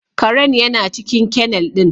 Karen yana cikin kennel ɗin